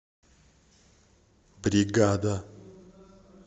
бригада